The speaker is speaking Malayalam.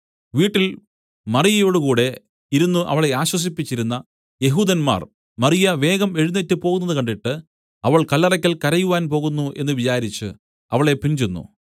വീട്ടിൽ മറിയയോടുകൂടെ ഇരുന്നു അവളെ ആശ്വസിപ്പിച്ചിരുന്ന യെഹൂദന്മാർ മറിയ വേഗം എഴുന്നേറ്റ് പോകുന്നത് കണ്ടിട്ട് അവൾ കല്ലറയ്ക്കൽ കരയുവാൻ പോകുന്നു എന്നു വിചാരിച്ചു അവളെ പിൻചെന്നു